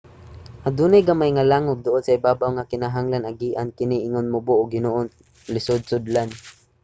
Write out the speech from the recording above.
adunay gamay nga langub duol sa ibabaw nga kinahanglan agian kini ingon mubo og hinoon lisod sudlan